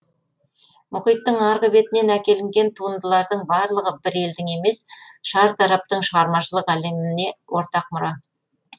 мұхиттың арғы бетінен әкелінген туындылардың барлығы бір елдің емес шартараптың шығармашылық әлеміне ортақ мұра